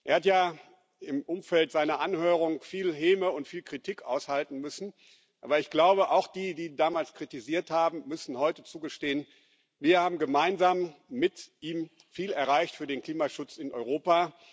Er hat ja im Umfeld seiner Anhörung viel Häme und viel Kritik aushalten müssen. Aber ich glaube, auch diejenigen, die ihn damals kritisiert haben, müssen heute zugeben Wir haben gemeinsam mit ihm viel erreicht für den Klimaschutz in Europa.